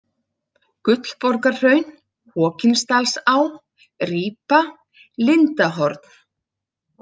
Gullborgarhraun, Hokinsdalsá, Rípa, Lindahorn